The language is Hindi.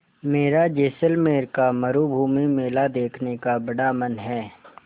मेरा जैसलमेर का मरूभूमि मेला देखने का बड़ा मन है